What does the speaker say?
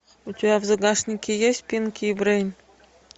у тебя в загашнике есть пинки и брейн